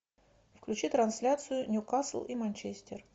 включи трансляцию ньюкасл и манчестер